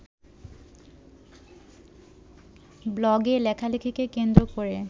ব্লগে লেখালেখিকে কেন্দ্র করে